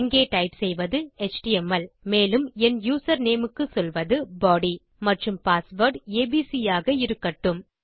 இங்கே டைப் செய்வது எச்டிஎம்எல் மேலும் என் யூசர்நேம் க்கு சொல்வது பாடி மற்றும் பாஸ்வேர்ட் ஏபிசி ஆக இருக்கட்டும்